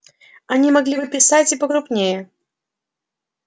они могли бы писать и покрупнее